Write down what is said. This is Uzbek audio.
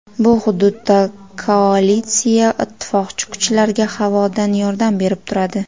Bu hududda koalitsiya ittifoqchi kuchlarga havodan yordam berib turadi.